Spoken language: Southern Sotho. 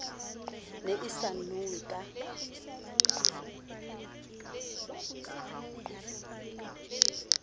ne e sa nowe ka